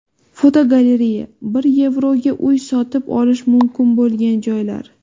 Fotogalereya: Bir yevroga uy sotib olish mumkin bo‘lgan joylar.